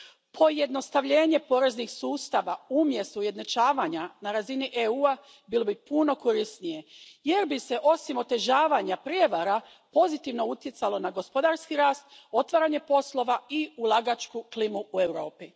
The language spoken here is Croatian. Pojednostavljenje poreznih sustava umjesto ujednačavanja na razini EU a bilo bi puno korisnije jer bi se, osim otežavanja prijevara, pozitivno utjecalo na gospodarski rast, otvaranje poslova i ulagačku klimu u Europi.